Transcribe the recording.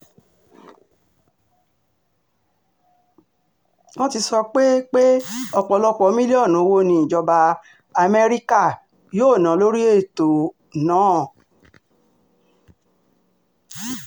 wọ́n ti sọ pé pé ọ̀pọ̀lọpọ̀ mílíọ̀nù owó ni ìjọba amẹ́ríkà um yóò ná lórí ètò náà um